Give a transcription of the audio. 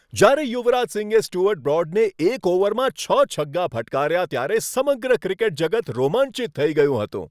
જ્યારે યુવરાજ સિંહે સ્ટુઅર્ટ બ્રોડને એક ઓવરમાં છ છગ્ગા ફટકાર્યા ત્યારે સમગ્ર ક્રિકેટ જગત રોમાંચિત થઈ ગયું હતું.